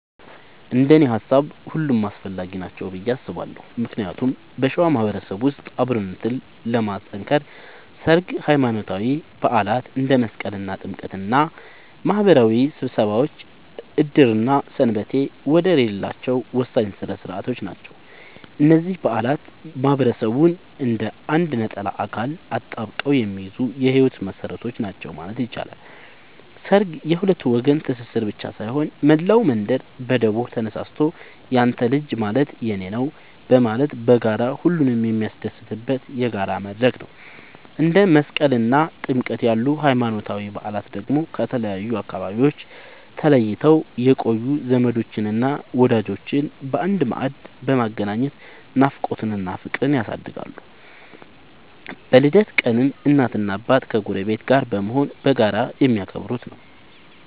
እንደኔ ሃሳብ ሁሉም አስፈላጊ ናቸው ብዬ አስባለሁ ምክንያቱም በሸዋ ማህበረሰብ ውስጥ አብሮነትን ለማጥከር ሠርግ፣ ሃይማኖታዊ በዓላት እንደ መስቀልና ጥምቀት እና ማህበራዊ ስብሰባዎች ዕድርና ሰንበቴ ወደር የሌላቸው ወሳኝ ሥነ ሥርዓቶች ናቸው። እነዚህ በዓላት ማህበረሰቡን እንደ አንድ ነጠላ አካል አጣብቀው የሚይዙ የህይወት መሰረቶች ናቸው ማለት ይቻላል። ሠርግ የሁለት ወገን ትስስር ብቻ ሳይሆን፣ መላው መንደር በደቦ ተነሳስቶ ያንተ ልጅ ማለት የኔ ነዉ በማለት በጋራ ሁሉንም የሚያስደስትበት የጋራ መድረክ ነው። እንደ መስቀልና ጥምቀት ያሉ ሃይማኖታዊ በዓላት ደግሞ ከተለያዩ አካባቢዎች ተለይተው የቆዩ ዘመዶችንና ወዳጆችን በአንድ ማዕድ በማገናኘት ናፍቆትን እና ፍቅርን ያድሳሉ። በልደት ቀንም እናትና አባት ከጎረቤት ጋር በመሆን በጋራ የሚያከብሩት ነዉ።